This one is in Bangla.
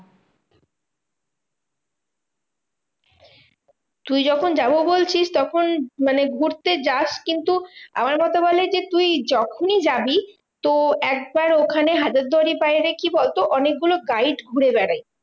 তুই যখন যাবো বলছিস তখন মানে ঘুরতে যাস কিন্তু আমার মতে বলে যে, তুই যখনই যাবি তো একবার ওখানে হাজারদুয়ারির বাইরে কি বলতো? অনেকগুলো guide ঘুরে বেড়ায়